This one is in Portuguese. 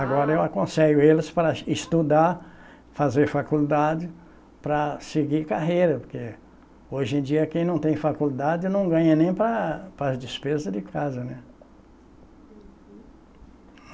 Agora eu aconselho eles para estudar, fazer faculdade, para seguir carreira, porque hoje em dia quem não tem faculdade não ganha nem para as para as despesas de casa, né? Uhum.